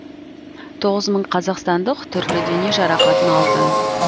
тоғыз мың қазақстандық түрлі дене жарақатын алды